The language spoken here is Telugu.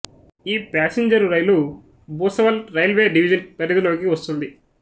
ఈ passenger rail Bhusawal railway division పరిధిలోకి వస్తుంది